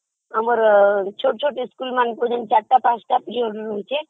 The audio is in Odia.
ଆମର ଛୋଟ ଛୋଟ ସ୍କୁଲମାନଙ୍କରେ ଯୋଉ ଚାରିପାଞ୍ଚ ପିରିଅଡ ରହୁଛି